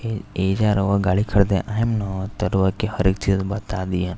ए एजा रउवा गाड़ी खरदे आइम न त रउवा के हर एक चीज़ बता दिहन।